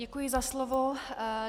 Děkuji za slovo.